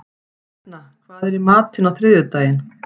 Hrefna, hvað er í matinn á þriðjudaginn?